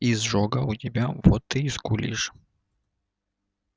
изжога у тебя вот ты и скулишь